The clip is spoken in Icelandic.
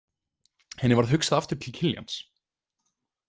Henni varð hugsað aftur til Kiljans.